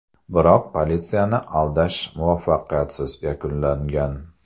Biroq politsiyani aldash muvaffaqiyatsiz yakunlangan.